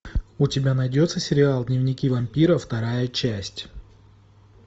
у тебя найдется сериал дневники вампира вторая часть